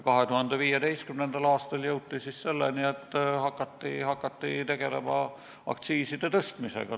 2015. aastal jõuti selleni, et hakati tegelema aktsiiside tõstmisega.